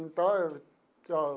Então eu.